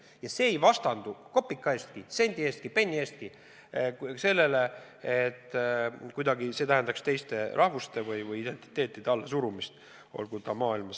Ja see ei vastandu kopika eestki, sendi eestki, penni eestki teistele rahvustele, see ei tähenda kuidagi teiste rahvuste või identiteetide allasurumist.